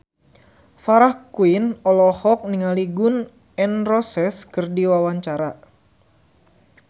Farah Quinn olohok ningali Gun N Roses keur diwawancara